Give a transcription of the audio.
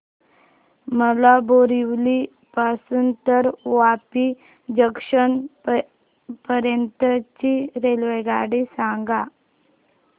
मला बोरिवली पासून तर वापी जंक्शन पर्यंत ची रेल्वेगाडी सांगा